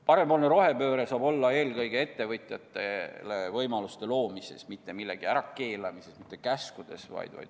Parempoolne rohepööre eeldab eelkõige ettevõtjatele võimaluste loomist, mitte millegi ärakeelamist, käskusid.